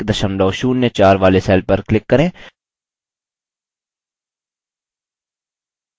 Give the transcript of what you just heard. कुल संख्या 970104 वाले cell पर click करें